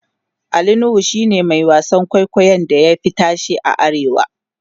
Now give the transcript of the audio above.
Ali nuhu shine Mai wasan kwaikwayon da ya Fi tashe a arewa